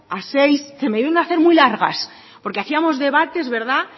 a seis se me debieron hacer muy largas porque hacíamos debates verdad